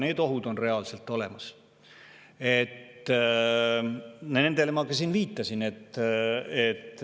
Need ohud on reaalselt olemas, nendele ma ka viitasin.